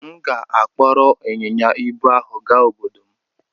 M ga-akpọrọ ịnyịnya ibu ahụ gaa n'obodo m.